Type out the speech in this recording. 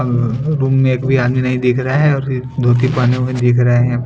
अ room में एक भी आदमी नही दिख रहा है और दो तीन में भी दिख रहे है।